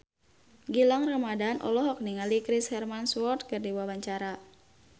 Gilang Ramadan olohok ningali Chris Hemsworth keur diwawancara